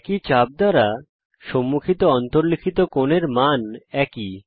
একই চাপ দ্বারা সম্মুখিত অন্তর্লিখিত কোণের মান একই